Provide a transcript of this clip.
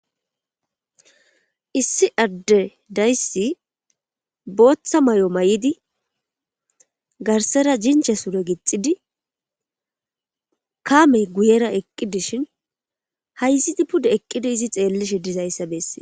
issi adde dayssi booththa may7o mayidi garsara jinche sure gixidi kaamey guyera eqqidishin hayzidi pude eqqidi izi xeellishe dizayssa bessees